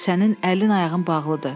Sənin əlin ayağın bağlıdır.